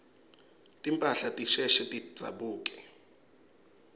timphahla tisheshe tidzabuke